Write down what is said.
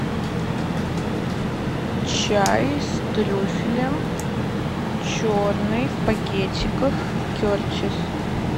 чай с трюфелем черный в пакетиках кертис